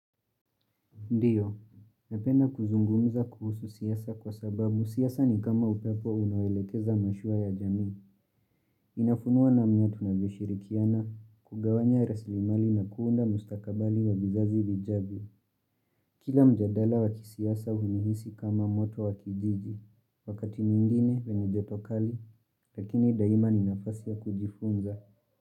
Ndiyo, napenda kuzungumza kuhusu siasa kwa sababu, siasa ni kama upepo unawolekeza mashua ya jamii, inafunua namna tunavyo shirikiana, kugawanya rasilimali na kuunda mustakabali wa vizazi vijavyo. Kila mjadala wakisiasa unihisi kama moto wakijiji, wakati mwingine wenye joto kali, lakini daima ni nafasi ya kujifunza.